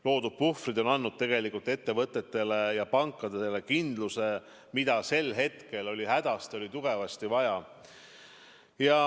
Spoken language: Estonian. Loodud puhvrid on andnud ettevõtetele ja pankadele kindluse, mida sel hetkel oli hädasti, tugevasti vaja.